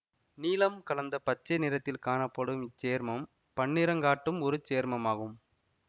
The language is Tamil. நீலம் கலந்த பச்சை நிறத்தில் காணப்படும் இச்சேர்மம் பன்னிறங்காட்டும் ஒரு சேர்மமாகும்